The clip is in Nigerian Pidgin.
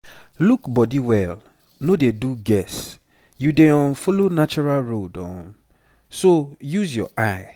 look body well no dey do guess. you dey um follow natural road um so use your eye